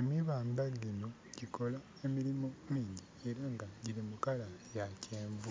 Emibanda gino gyikola emirimu mingi era giri mu color ya kyenvu